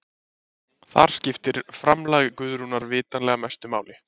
þar skiptir framlag guðrúnar vitanlega mestu máli